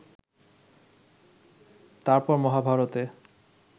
তার পর মহাভারতে